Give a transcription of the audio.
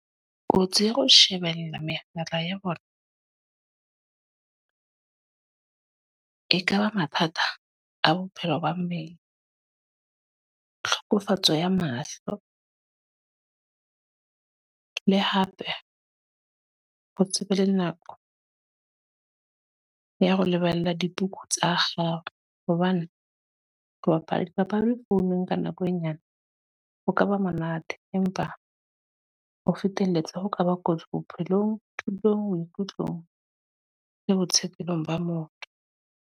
Kotsi ya ho shebella mehala ya bona. E ka ba mathata a bophelo ba mmele, tlhokofetso ya mahlo. Le hape, ho tsebe le nako ya ho lebala dikuku tsa hao. Hobane ho bapala dipapadi founong ka nako e nyane, ho kaba monate. Empa ho feteletsa ho kaba kotsi bophelong, thutong, maikutlong le ba motho.